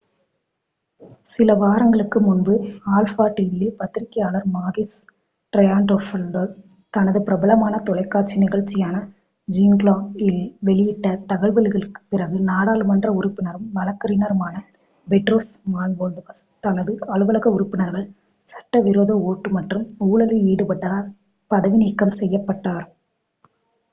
"சில வாரங்களுக்கு முன்பு alpha tv யில் பத்திரிகையாளர் மாகிஸ் ட்ரையன்டாஃபைலோபௌலோஸ் தனது பிரபலமான தொலைக்காட்சி நிகழ்ச்சியான "ஜூங்க்லா" இல் வெளியிட்ட தகவல்களுக்குப் பிறகு நாடாளுமன்ற உறுப்பினரும் வழக்கறிஞருமான பெட்ரோஸ் மான்டுவாலோஸ் தனது அலுவலக உறுப்பினர்கள் சட்டவிரோத ஓட்டு மற்றும் ஊழலில் ஈடுபட்டதால் பதவி நீக்கம் செய்யப்பட்டார்.